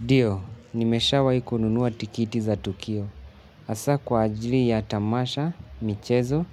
Ndio nimeshawahi kununua tikiti za tukio. Hasa kwa ajili ya tamasha michezo